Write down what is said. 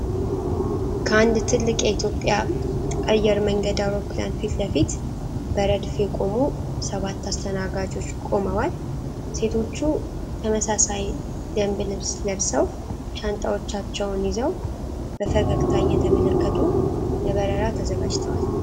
ከአንድ ትልቅ የኢትዮጵያ አየር መንገድ አውሮፕላን ፊት ለፊት በረድፍ የቆሙ ሰባት አስተናጋጆች ቆመዋል። ሴቶቹ ተመሳሳይ ደንብ ልብስ ለብሰው ሻንጣዎቻቸውን ይዘው በፈገግታ እየተመለከቱ ለበረራ ተዘጋጅተዋል።